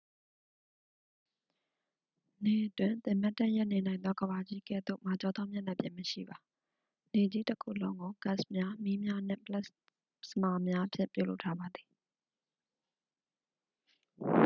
နေတွင် သင်မတ်တပ်ရပ်နေနိုင်သော ကမ္ဘာကြီးကဲ့သို့ မာကျောသောမျက်နှာပြင်မရှိပါ နေကြီးတစ်ခုလုံးကို ဂတ်စ်များ မီးများနှင့် ပလက်စမာများဖြင့် ပြုလုပ်ထားပါသည်